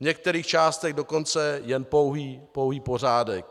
V některých částech dokonce jen pouhý pořádek.